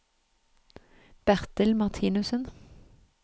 Bertil Marthinussen